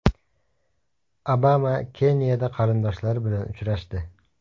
Obama Keniyada qarindoshlari bilan uchrashdi.